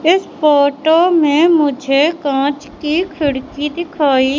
इस फोटो में मुझे कांच की खिड़की दिखाइ--